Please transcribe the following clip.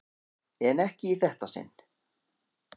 En ekki í þetta sinn.